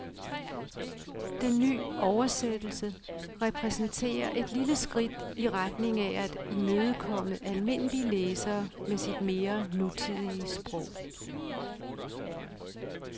Den nye oversættelse repræsenterer et lille skridt i retning af at imødekomme almindelige læsere med sit mere nutidige sprog.